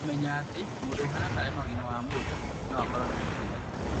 Kũmenya atĩ mũndũ ũhana ta arĩ na ũgima wa mwĩrĩ noakorũo na mũkingo